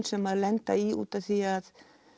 sem þær lenda í út af því að